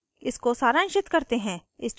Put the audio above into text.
इसको सारांशित करते हैं